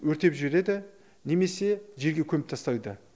өртеп жібереді немесе жерге көміп тастайды